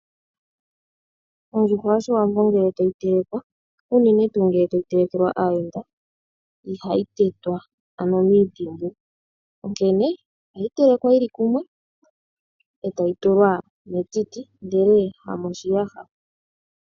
Ondjuhwa yoshiwambo ngele ta yi telekwa, unene tuu ngele ta yi telekelwa aayenda, iha yi tetwa, ano miintimbu. Onkene oha yi telekwa yili kumwe ee ta yi tulwa metiti, ndele ha moshiyaha.